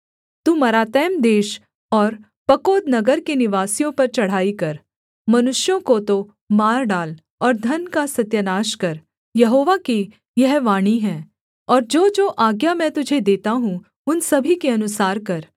तू मरातैम देश और पकोद नगर के निवासियों पर चढ़ाई कर मनुष्यों को तो मार डाल और धन का सत्यानाश कर यहोवा की यह वाणी है और जोजो आज्ञा मैं तुझे देता हूँ उन सभी के अनुसार कर